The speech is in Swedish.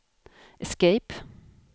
escape